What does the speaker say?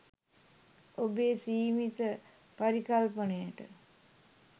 ඔබේ සීමිත පරිකල්පනයට